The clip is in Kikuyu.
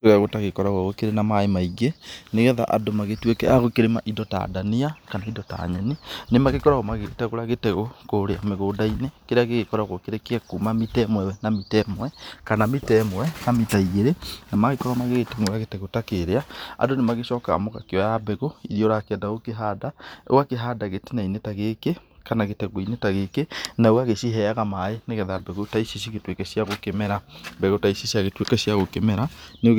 Kũrĩa gũtagĩkoragwo gũkĩrĩ na maaĩ maingĩ, nĩgetha andũ magĩtũĩke a gũkĩrĩma indo ta ndania, kana indo ta nyeni. Nĩ magĩkoragwo magĩgĩtegũra gĩtegũ kũrĩa mũgũnda-inĩ kĩrĩa gĩgĩkoragwo kĩrĩ kĩa kuuma mita ĩmwe na mita ĩmwe, kana mita ĩmwe na mita igĩrĩ. Na magĩkorwo magĩtengũra gĩtegũ ta kĩrĩa, andũ nĩ magĩcokaga magakĩoya mbegũ irĩa ũrakĩenda gũkĩhanda, ũgakĩhanda gĩtĩna-inĩ ta gĩkĩ, kana gĩtegũ-inĩ ta gĩkĩ , na ũgagĩciheaga maaĩ nĩgetha mbegũ ta ici ci gĩtũĩke cia gũkĩmera. Mbegũ ta ici cia gĩtũĩka cia gũkĩmera , rĩu